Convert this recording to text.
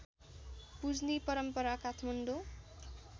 पुज्ने परम्परा काठमाडौँ